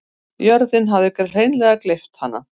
Jörðin hafði hreinleg gleypt hana.